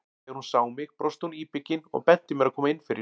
Þegar hún sá mig brosti hún íbyggin og benti mér að koma inn fyrir.